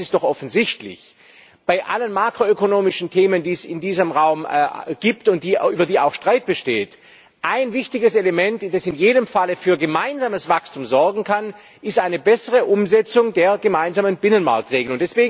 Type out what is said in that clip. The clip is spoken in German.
Eines ist doch offensichtlich Bei allen makroökonomischen Themen, die es in diesem Raum gibt und über die auch Streit besteht, ist ein wichtiges Element, das in jedem Falle für gemeinsames Wachstum sorgen kann, eine bessere Umsetzung der gemeinsamen Binnenmarktregeln.